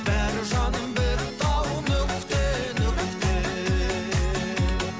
бәрі жаным бітті ау нүкте нүкте